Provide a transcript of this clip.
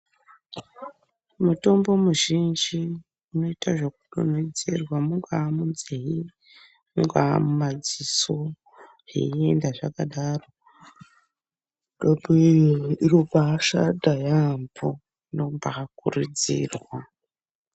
Mutombo mizhinji unoita zvekudonhedzerwa mungaa munzee , mungaa mumadziso zveienda zvakadaro mitombo iyoyo inombashanda yambo inombakurudzirwa.